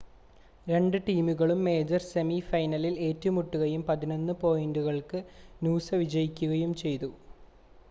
രണ്ട് ടീമുകളും major semi ഫൈനലിൽ ഏറ്റുമുട്ടുകയും 11 പോയിൻ്റുകൾക്ക് നൂസ വിജയികയും ചെയ്തു